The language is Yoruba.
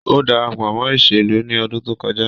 O darapo mo iselu ni odun to koja